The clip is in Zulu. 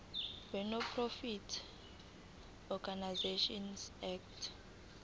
wenonprofit organisations act